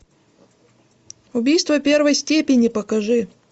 убийство первой степени покажи